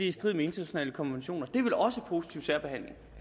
i strid med internationale konventioner det er vel også positiv særbehandling